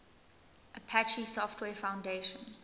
apache software foundation